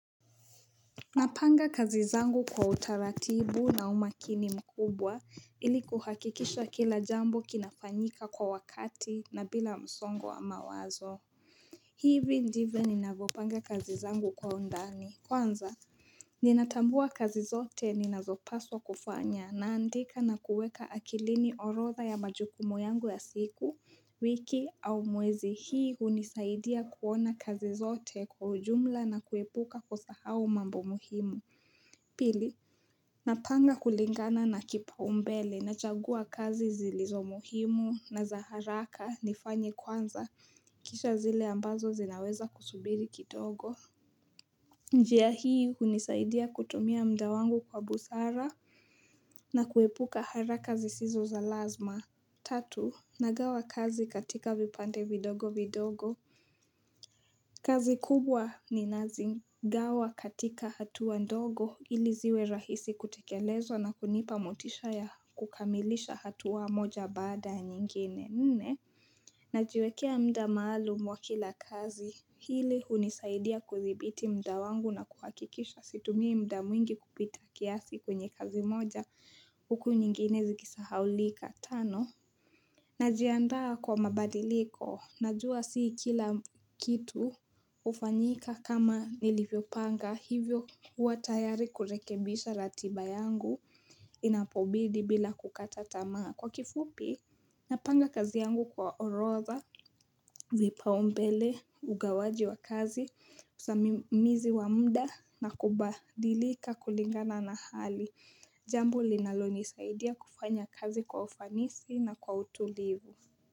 Napanga kazi zangu kwa utaratibu na umakini mkubwa ili kuhakikisha kila jambo kinafanyika kwa wakati na bila msongo wa mawazo hivi ndivyo ninavopanga kazi zangu kwa undani kwanza Ninatambua kazi zote ninazopaswa kufanya naandika na kuweka akilini orotha ya majukumu yangu ya siku wiki au muwezi hii unisaidia kuona kazi zote kwa ujumla na kuepuka kusahao mambo muhimu Pili, napanga kulingana na kipa umbele na jagua kazi zilizo muhimu na za haraka nifanyi kwanza kisha zile ambazo zinaweza kusubiri kidogo njia hii unisaidia kutumia mda wangu kwa busara na kuepuka haraka zisizo za lazima Tatu, nagawa kazi katika vipande vidogo vidogo kazi kubwa ni nazingawa katika hatuwa ndogo ili ziwe rahisi kutekelezwa na kunipa mutisha ya kukamilisha hatuwa moja bada nyingine nene. Najwekea mda maalu mwa kila kazi hili unisaidia kuzibiti mda wangu na kuhakikisha situmia mda mwingi kupita kiasi kunye kazi moja huku nyingine zigisahaulika tano. Na jiandaa kwa mabadiliko, najua sii kila kitu ufanyika kama nilivyo panga hivyo uwa tayari kurekebisha ratiba yangu inapobidi bila kukatatamaa. Kwa kifupi, napanga kazi yangu kwa oroza, vipa umbele, ugawaji wa kazi, kusamimizi wa mda na kubadilika kulingana na hali. Jambo linaloni isaidia kufanya kazi kwa ufanisi na kwa utulivu.